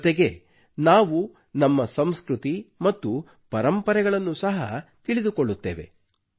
ಜೊತೆಗೆ ನಾವು ನಮ್ಮ ಸಂಸೃತಿ ಮತ್ತು ಪರಂಪರೆಗಳನ್ನೂ ಸಹ ತಿಳಿದುಕೊಳ್ಳುತ್ತೇವೆ